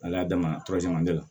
Ala damina la